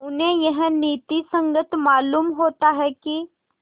उन्हें यह नीति संगत मालूम होता है कि